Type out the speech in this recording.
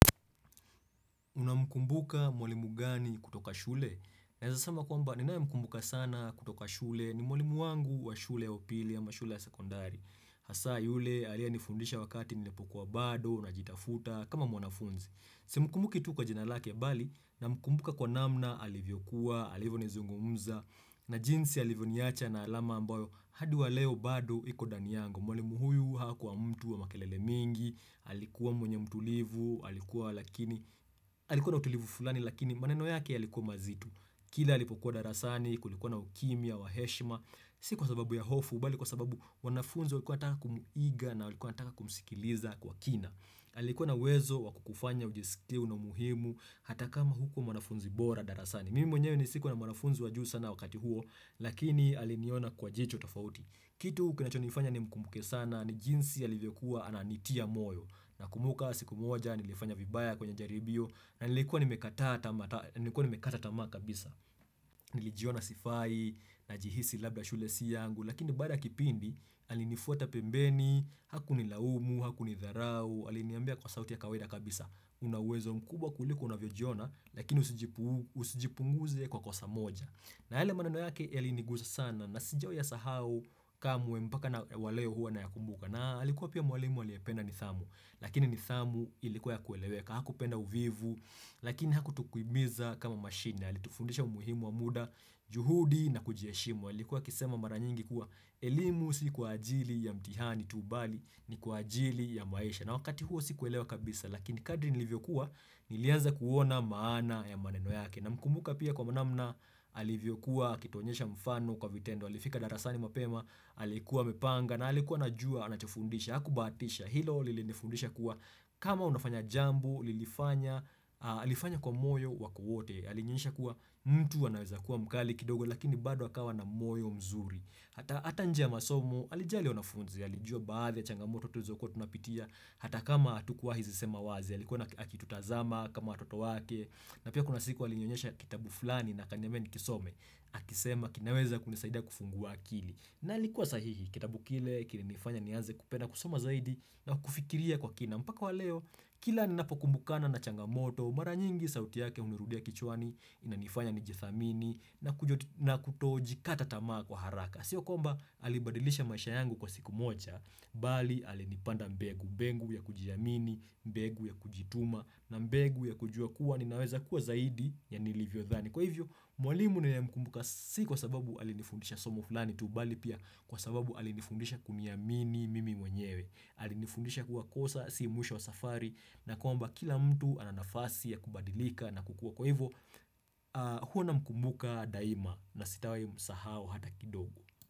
Unamkumbuka mwalimu gani kutoka shule? Naeza sema kwamba ninayemkumbuka sana kutoka shule ni mwalimu wangu wa shule ya upili ama shule ya sekondari. Hasa yule aliyenifundisha wakati nilipokuwa bado najitafuta kama mwanafunzi. Simkumbuki tu kwa jina lake bali namkumbuka kwa namna alivyo kuwa, alivyo nizungumza na jinsi alivyo niacha na alama ambayo hadi wa leo bado iko ndani yangu. Mwalimu huyu hakuwa mtu wa makelele mingi, alikuwa mwenye mtulivu, alikuwa lakini, alikuwa na utulivu fulani lakini maneno yake yalikuwa mazito. Kila alipokuwa darasani, kulikuwa na ukimya wa heshima, si kwa sababu ya hofu, bali kwa sababu wanafunzi walikuwa wanataka kumuiga na walikuwa wataka kumsikiliza kwa kina. Alikuwa na uwezo wa kukufanya ujisikie una umuhimu, hata kama hukuwa mwanafunzi bora darasani. Mimi mwenyewe sikuwa na mwanafunzi wajuu sana wakati huo, lakini aliniona kwa jicho tofauti. Kitu kinachonifanya nimkumbuke sana ni jinsi alivyokuwa ananitia moyo nakumbuka siku moja nilifanya vibaya kwenye jaribio na nilikuwa nimekata tama kabisa. Nilijiona sifai najihisi labda shule si yangu lakini baada ya kipindi alinifuata pembeni hakunilaumu hakunidharau aliniambia kwa sauti ya kawaida kabisa. Una uwezo mkubwa kuliko unavyojiona lakini usijipunguze kwa kosa moja. Na yale maneno yake yailinigusa sana na sijawai yasahau kamwe mpaka na waleo huwa na yakumbuka na alikuwa pia mwalimu aliyependa nidhamu lakini nidhamu ilikuwa ya kueleweka. Hakupenda uvivu lakini hakutukimbiza kama mashine. Alitufundisha umuhimu wa muda, juhudi na kujiheshimu. Alikuwa akisema mara nyingi kuwa elimu si kwa ajili ya mtihani tu bali ni kwa ajili ya maisha. Na wakati huo sikuelewa kabisa lakini kadri nilivyokuwa nilianza kuona maana ya maneno yake. Namkumbuka pia kwa namna, alivyo kuwa, akituonyesha mfano kwa vitendo, alifika darasani mapema, alikuwa amepanga, na alikuwa anajua, anachofundisha, hakubahatisha, hilo lilinifundisha kuwa kama unafanya jambo, lilifanya alifanya kwa moyo wake wote, alinionyesha kuwa mtu anaweza kuwa mkali kidogo, lakini bado akawa na moyo mzuri. Hata njia masomo, alijali wanafunzi, alijua baadhi yachangamoto tulizo kuwa tunapitia, hata kama hatukuwai zisema wazi, alikuwa akitutazama, kama watoto wake, na pia kuna siku alinyonyesha kitabu fulani na akaniambia nikisome, akisema kinaweza kunisaida kufungua akili. Na alikuwa sahihi kitabu kile kilinifanya nianze kupenda kusoma zaidi na kufikiria kwa kina mpaka wa leo kila ninapokumbukana na changamoto mara nyingi sauti yake hunirudia kichwani inanifanya nijithamini na na kutojikata tamaa kwa haraka. Sio kwamba alibadilisha maisha yangu kwa siku moja bali alinipanda mbegu, mbegu ya kujiamini, mbegu ya kujituma na mbegu ya kujua kuwa ninaweza kuwa zaidi ya nilivyo dhani Kwa hivyo, mwalimu ninaye mkumbuka si kwa sababu alinifundisha somo fulani tu bali pia kwa sababu alinifundisha kuniamini mimi mwenyewe. Alinifundisha kuwa kosa, si mwisho wa safari na kwamba kila mtu ana nafasi ya kubadilika na kukua kwa hivyo, huwa namkumbuka daima na sitawai msahau hata kidogo.